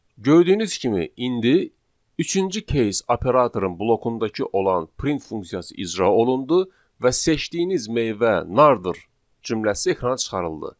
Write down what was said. Gördüyünüz kimi, indi üçüncü case operatorun blokundakı olan print funksiyası icra olundu və seçdiyiniz meyvə nardır cümləsi ekrana çıxarıldı.